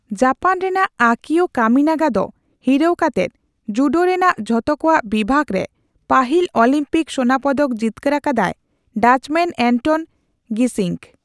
Japan ᱨᱮᱱᱟᱜ Akio Kaminaga ᱫᱚ ᱦᱤᱨᱟᱹᱣ ᱠᱟᱛᱮᱫ ᱡᱩᱰᱳ ᱨᱮᱱᱟᱜ ᱡᱷᱚᱛᱚ ᱠᱚᱣᱟᱜ ᱵᱤᱵᱷᱟᱜ ᱨᱮ ᱯᱟᱹᱦᱤᱞ ᱚᱞᱤᱢᱯᱤᱠ ᱥᱳᱱᱟᱯᱚᱫᱚᱠ ᱡᱤᱛᱠᱟᱹᱨ ᱟᱠᱟᱫᱟᱭ ᱰᱟᱪᱢᱮᱱ ᱮᱱᱴᱚᱱ ᱜᱤᱥᱤᱝᱠ ᱾